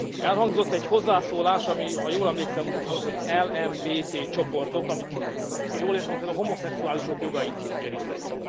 Elhangzott egy hozzászólás, amely ha jól emlékszem úgy hangzott, hogy LMBT csoportok, ha jól értem, a homoszexuálisok jogait érintheti.